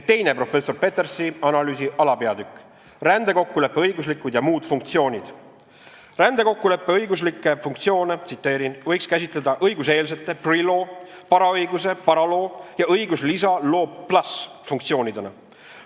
" Teine professor Petersi analüüsi alapeatükk "Rändekokkuleppe õiguslikud ja muud funktsioonid": "Rändekokkuleppe õiguslikke funktsioone võiks käsitleda nn õiguseelsete , paraõiguse ja õiguslisa funktsioonidena.